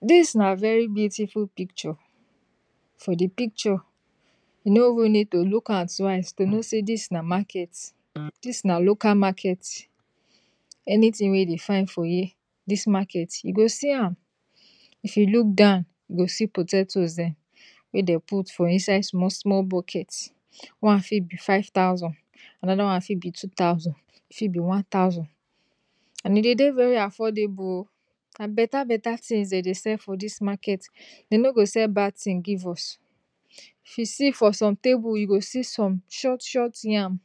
This na very beautiful picture, for the picture you, you no even need to look am twice to know say this na market, this na local market. you go see am, if you look am, if you look downyou go see potatoes there wey dem put for inside small small bucket one fit bi five thousand another one fit be two thousand another one fit be one thousand and e dey dey very affordable o, na better better thing dem dey sell for dis market, dem no dey sell bad tins, if you see for some atbles you go see some short short yam,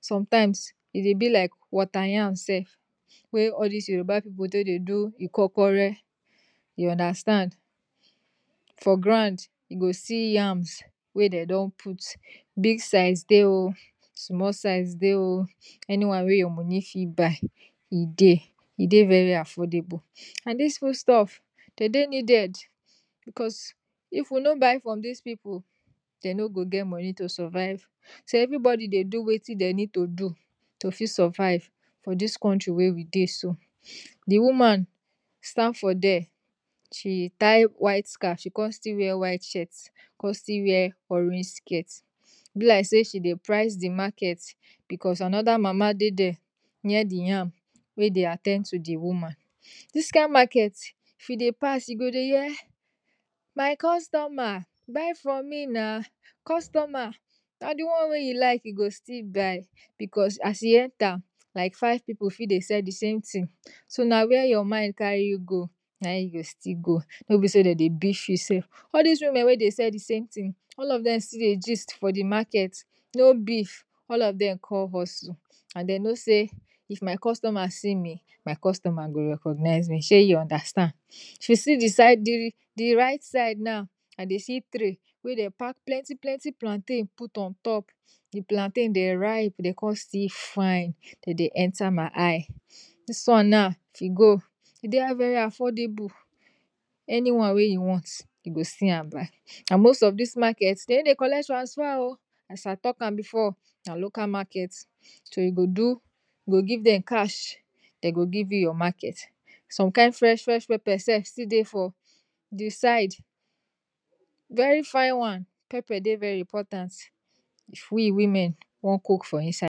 sometimes e dey bi like wateryam self wey all dis yoruba people take dey do ikokore you understand. for ground you go see yam wey dem put, big size dey o, anyone wey your moni fit buy e dey, e dey very affordable and dis foodstuffs dey dey very important because if we no buy from dis people dem no go get money to survive, so everybody dey wetin dem fit do to fit survive for this country wey we dey so., the woman stand for there, she tie white scaf she con still wear white shirt, con still wear orange skirt, e bi like say she dey price zthe market because another mama dey there near the yam wey dey at ten d to di woman. this kind market if you pass you go dey hear my customer buy from me na, customer, na the one wey you lik you go still buy because as you enter, like five people fit dey sell dsame tin, do na where your mind carry you go na eyou go still go, no be say dem dey beef you say. all dis women wey dey sell dsame tin, all of dem con hustle and dem no say if my customer see me, my customer go recognize me, shey you understand. if you go di side, the right side now, you go see tray wey dem pack plenty plenty plantain put ontop, di plantain dem ripe dem con dtill fine, e dey enter my eye, this one now if e go, e deu buy and most of dis market dem no dey collect transfer o, as i talk am before na local market so you do, go give dem cash, dem go give you your market. some kind fresh fresh pepper self still dey for di side, very fine one, pepper dey very important if we women won cook for inside.